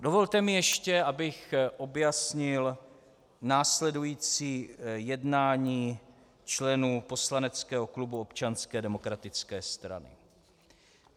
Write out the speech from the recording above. Dovolte mi ještě, abych objasnil následující jednání členů poslaneckého klubu Občanské demokratické strany.